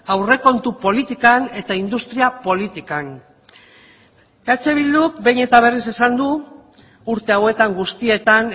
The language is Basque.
aurrekontu politikan eta industria politikan eh bilduk behin eta berriz esan du urte hauetan guztietan